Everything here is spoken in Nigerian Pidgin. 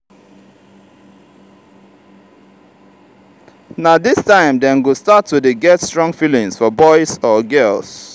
na dis time dem go start to dey get strong feelings for boys or girls.